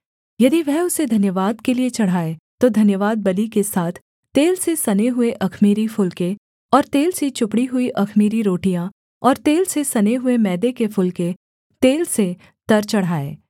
यदि वह उसे धन्यवाद के लिये चढ़ाए तो धन्यवादबलि के साथ तेल से सने हुए अख़मीरी फुलके और तेल से चुपड़ी हुई अख़मीरी रोटियाँ और तेल से सने हुए मैदे के फुलके तेल से तर चढ़ाए